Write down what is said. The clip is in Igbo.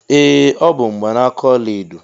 Ee ọ bụ mgbanaka ọla edo.